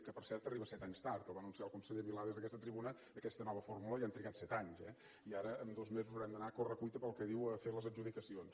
que per cert arriba set anys tard la va anunciar el conseller milà des d’aquesta tribuna aquesta nova fórmula i han trigat set anys eh i ara amb dos mesos haurem d’anar a corre cuita pel que diu a fer les adjudicacions